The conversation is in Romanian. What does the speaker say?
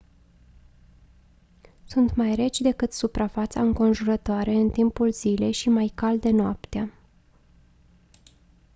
sunt mai reci decât suprafața înconjurătoare în timpul zilei și mai calde noaptea